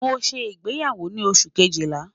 Mo n ṣe igbeyawo ni Oṣu kejila